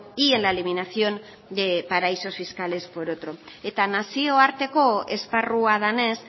y en la eliminación de paraísos fiscales por otro eta nazioarteko esparrua denez